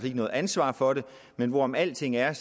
ikke noget ansvar for det men hvorom alting er